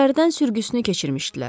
İçəridən sürgüsünü keçirmişdilər.